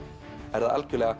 er það algjörlega